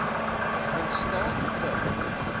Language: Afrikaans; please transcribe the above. in staat te